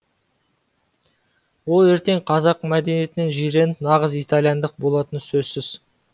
ол ертең қазақ мәдениетінен жиреніп нағыз италияндық болатыны сөзсіз